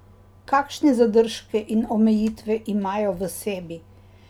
Kakšne zadržke in omejitve imajo v sebi?